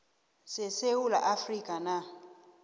sesewula afrika na